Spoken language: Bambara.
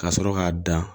Ka sɔrɔ k'a dan